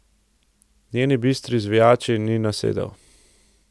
Njeni bistri zvijači ni nasedel.